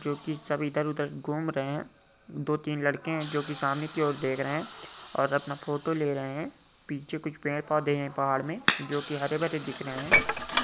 जो कि सभी इधर-उधर घूम रहे है दो-तीन लड़के है जो कि सामने की और देख रहे है और अपना फोटो ले रहे है पीछे कुछ पेड़ पौधे है पहाड़ में जो कि हर-भरे दिख रहे है।